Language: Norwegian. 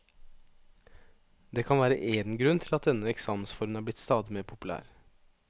Det kan være én grunn til at denne eksamensformen er blitt stadig mer populær.